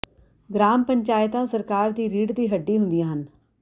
gram ਪੰਚਾਇਤਾਂ ਸਰਕਾਰ ਦੀ ਰੀੜ੍ਹ ਦੀ ਹੱਡੀ ਹੁੰਦੀਆਂ ਹਨ